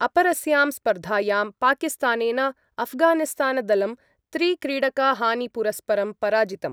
अपरस्यां स्पर्धायां पाकिस्तानेन अफगानिस्तानदलं त्रिक्रीडकहानिपुरस्परं पराजितम्।